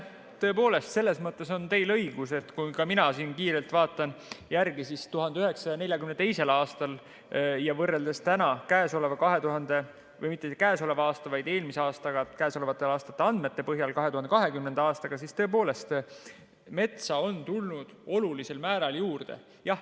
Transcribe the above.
Tõepoolest, selles mõttes on teil õigus, et kui ma kiirelt vaatan järele, siis 1942. aastat eelmise, 2020. aastaga võrreldes on metsa tulnud olulisel määral juurde.